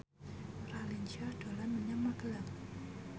Raline Shah dolan menyang Magelang